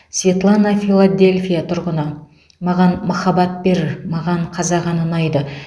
светлана филадельфия тұрғыны маған махаббат бер маған қазақ әні ұнайды